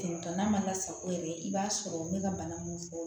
n'a ma lasago yɛrɛ i b'a sɔrɔ n bɛ ka bana mun fɔ